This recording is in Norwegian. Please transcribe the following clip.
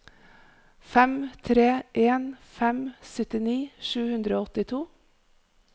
fem tre en fem syttini sju hundre og åttito